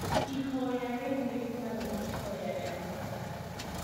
Ihoya rĩu rĩtagwo ihoya rĩa Mwathani